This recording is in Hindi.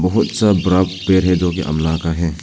बहुत सा बड़ा पेड़ जो कि अमला का है।